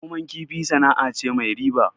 Noman kifi sana'a ce mai riba